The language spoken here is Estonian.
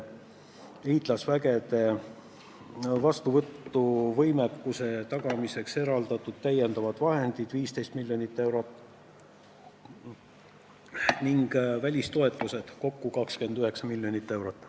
Liitlasvägede vastuvõtu võimekuse tagamiseks on eraldatud täiendavad vahendid 15 miljonit eurot ning välistoetused kokku on 29 miljonit eurot.